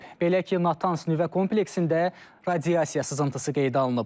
Belə ki, Natans nüvə kompleksində radiasiya sızıntısı qeydə alınıb.